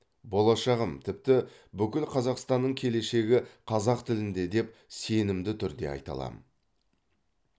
болашағым тіпті бүкіл қазақстанның келешегі қазақ тілінде деп сенімді түрде айта аламын